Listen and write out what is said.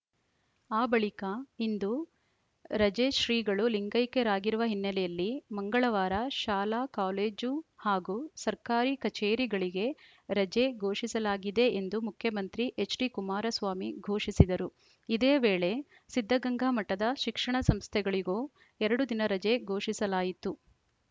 ಆ ಬಳಿಕ ಇಂದು ರಜೆ ಶ್ರೀಗಳು ಲಿಂಗೈಕ್ಯರಾಗಿರುವ ಹಿನ್ನೆಲೆಯಲ್ಲಿ ಮಂಗಳವಾರ ಶಾಲಾ ಕಾಲೇಜು ಹಾಗೂ ಸರ್ಕಾರಿ ಕಚೇರಿಗಳಿಗೆ ರಜೆ ಘೋಷಿಸಲಾಗಿದೆ ಎಂದು ಮುಖ್ಯಮಂತ್ರಿ ಎಚ್‌ಡಿ ಕುಮಾರಸ್ವಾಮಿ ಘೋಷಿಸಿದರು ಇದೇ ವೇಳೆ ಸಿದ್ಧಗಂಗಾ ಮಠದ ಶಿಕ್ಷಣ ಸಂಸ್ಥೆಗಳಿಗೂ ಎರಡು ದಿನ ರಜೆ ಘೋಷಿಸಲಾಯಿತು